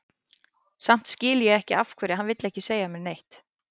Samt skil ég ekki af hverju hann vill ekki segja mér neitt.